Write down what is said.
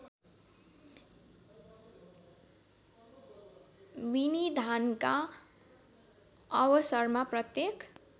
विनिधानका अवसरमा प्रत्येक